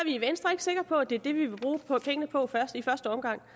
i venstre ikke sikre på at det er det vi i første omgang